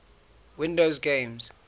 windows games